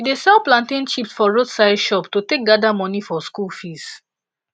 she dey sell plantain chips for roadside shop to take gather money for school fees